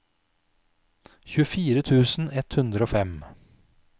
tjuefire tusen ett hundre og fem